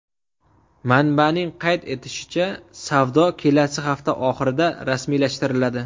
Manbaning qayd etishicha, savdo kelasi hafta oxirida rasmiylashtiriladi.